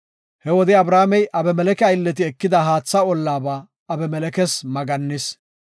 He wode, Abrahaamey Abimeleke aylleti ekida haatha ollaba Abimelekes maggannis.